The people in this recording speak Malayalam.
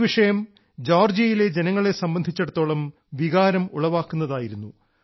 ഈ വിഷയം ജോർജിയയിലെ ജനങ്ങളെ സംബന്ധിച്ചിടത്തോളം വികാരം ഉളവാകുന്നതായിരുന്നു